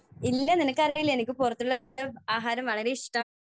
ഇല്ല, നിനക്കറിയില്ലേ എനിക്ക് പുറത്തുനിന്നുള്ള ആഹാരം വളരെ ഇഷ്ടമാണ്.